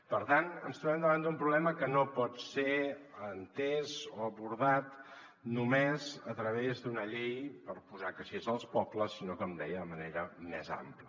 per tant ens trobem davant d’un problema que no pot ser entès o abordat només a través d’una llei per posar caixers als pobles sinó com deia de manera més am·pla